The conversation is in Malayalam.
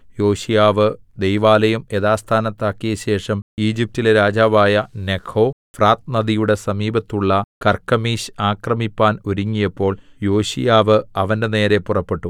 യോശീയാവ് ദൈവാലയം യഥാസ്ഥാനത്താക്കിയശേഷം ഈജിപ്റ്റിലെ രാജാവായ നെഖോ ഫ്രാത്ത് നദിയുടെ സമീപത്തുള്ള കർക്കെമീശ് ആക്രമിപ്പാൻ ഒരുങ്ങിയപ്പോൾ യോശീയാവ് അവന്റെനേരെ പുറപ്പെട്ടു